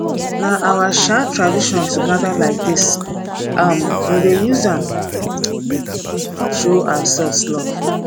na our um tradition to gather like dis um we dey use am show ourselves love